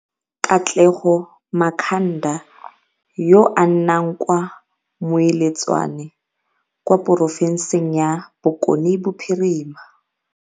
Katlego Makhanda yo a nnang kwa Moiletswane kwa porofenseng ya Bokone Bophirima